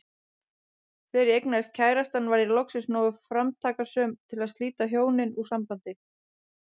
Þegar ég eignaðist kærastann varð ég loksins nógu framtakssöm til að slíta hjónin úr sambandi.